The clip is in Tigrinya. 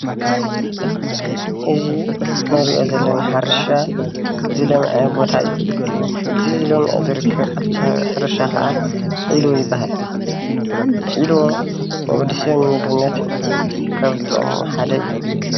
እዚ እንሪኦ ዘለና ሕርሻ ዝለመዐ ቦታ እዩ፡፡ እቲ ለሚዑ ዝርከብ ኣብቲ ሕርሻ ከዓ ዒልቦ ይባሃል፡፡ ዒልቦ ንወዲ ሰብ ንምግብነት ካብ ዝጠቅሙ ሓደ እዩ፡፡